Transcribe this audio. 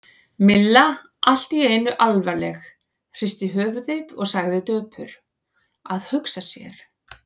Milla allt í einu alvarleg, hristi höfuðið og sagði döpur: Að hugsa sér.